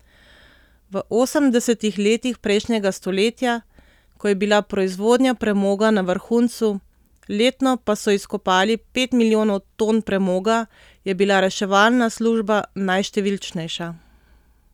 V osemdesetih letih prejšnjega stoletja, ko je bila proizvodnja premoga na vrhuncu, letno pa so izkopali pet milijonov ton premoga, je bila reševalna služba najštevilčnejša.